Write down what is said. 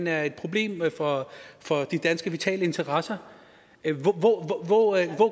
er et problem for for de danske vitale interesser hvor